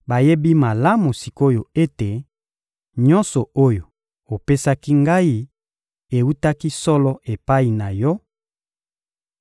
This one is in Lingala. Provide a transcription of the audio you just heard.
Bayebi malamu sik’oyo ete nyonso oyo opesaki Ngai ewutaki solo epai na Yo;